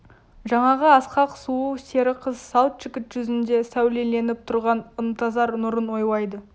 жаңағы асқақ сұлу сері қыз сал жігіт жүзінде сәулеленіп тұрған ынтызар нұрын ойлайды